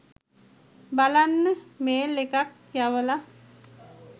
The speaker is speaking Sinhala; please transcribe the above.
බලන්න මේල් එකක් යවල